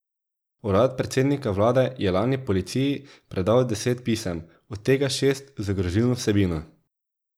Urad predsednika vlade je lani policiji predal deset pisem, od tega šest z grozilno vsebino.